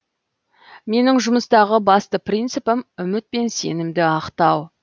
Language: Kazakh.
менің жұмыстағы басты принципім үміт пен сенімді ақтау